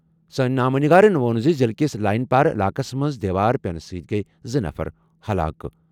سٲنۍ نامہ نگارن ووٚن زِ ضِلعہٕ کِس لائن پار علاقَس منٛز دیوار پٮ۪نہٕ سۭتۍ گٔیہِ زٕ نفر ہلاک۔